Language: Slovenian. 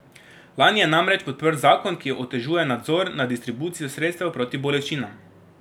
Lani je namreč podprl zakon, ki otežuje nadzor nad distribucijo sredstev proti bolečinam.